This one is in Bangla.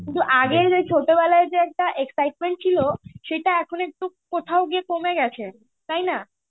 কিন্তু আগে ছোটবেলায় যে একটা excitement ছিলো, সেটা এখন একটু কোথাও গিয়ে কমে গেছে. তাইনা?